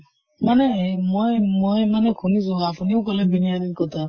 মানে হেৰি মই মই মানে খুনিছো, আপুনিও কʼলে বিৰিয়ানি কʼথা